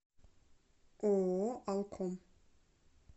ооо алком